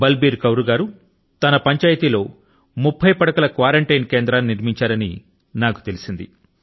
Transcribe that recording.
బల్ beer Kaur గారు తన పంచాయతీ లో 30 పడకల క్వారన్టీన్ కేంద్రాన్ని నిర్మించారని నాకు తెలిసింది